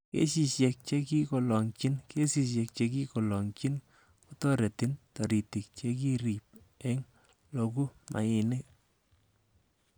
Kesisiek che kiloogyin:Kesisiek che kiloogyin kotoretin toritik che kirib on logu mainik.